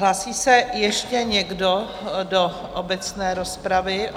Hlásí se ještě někdo do obecné rozpravy?